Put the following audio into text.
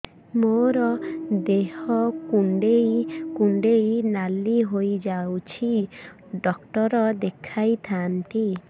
ମୋର ଦେହ କୁଣ୍ଡେଇ କୁଣ୍ଡେଇ ନାଲି ହୋଇଯାଉଛି ଡକ୍ଟର ଦେଖାଇ ଥାଆନ୍ତି